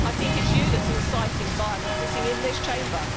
I think it is you that is inciting violence, sitting in this Chamber.